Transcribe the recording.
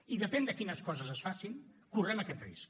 i depèn de quines coses es facin correm aquest risc